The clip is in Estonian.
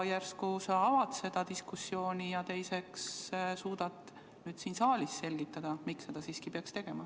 Järsku sa avad seda diskussiooni, ja teiseks suudad siin saalis selgitada, miks seda peaks tegema.